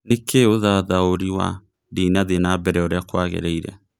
nĩ kĩĩ ũthathaũrĩ wa ndĩnathie na mbere ũrĩa kwagĩrĩire